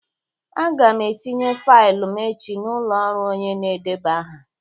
Aga m etinye faịlụ m echi n'ụlọ ọrụ onye na-edeba aha.